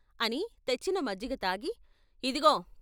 ' అని తెచ్చిన మజ్జిగ తాగి ఇదిగో.